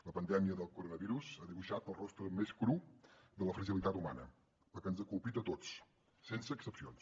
la pandèmia del coronavirus ha dibuixat el rostre més cru de la fragilitat humana perquè ens ha colpit a tots sense excepcions